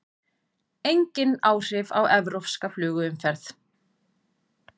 Engin áhrif á evrópska flugumferð